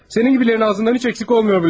Səninkilərin ağzından heç əksik olmuyor bu laflar.